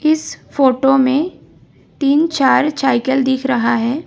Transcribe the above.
इस फोटो में तीन चार चाइकल दिख रहा है।